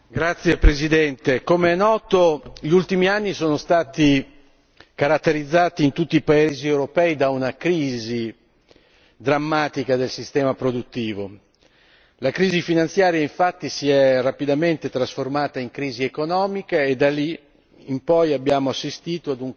Signor Presidente, onorevoli colleghi, come è noto gli ultimi anni sono stati caratterizzati in tutti paesi europei da una crisi drammatica del sistema produttivo. La crisi finanziaria infatti si è rapidamente trasformata in crisi economica e da lì